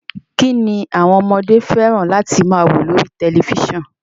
Kín ni àwọn ọmọdé fẹ́ràn láti máa wo lórí tẹ̀lifísàn?